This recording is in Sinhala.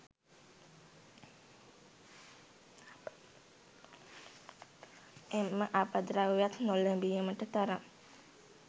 එම අපද්‍රව්‍යවත් නොලැබීමට තරම්